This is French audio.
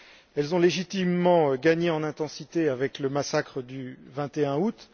Elles ont légitimement gagné en intensité avec le massacre du 21 août.